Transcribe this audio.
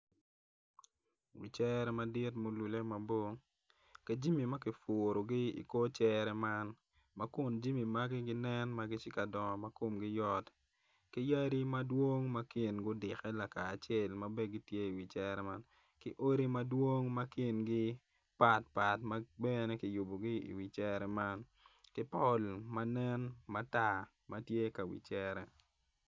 Wi cere madit ma olulle mabor ka jami ma kipurogi i kor cere man ma kun jami magi ginen ma komgi tye ka dongo mayot ki ydi madwong ma kingi odikke lakacel ma bene gitye iwi cere man ki odi madwong ma kingi patpat ma bene kiyubogi iwi cere man ki pol ma nen matar ma tye ka wi cere.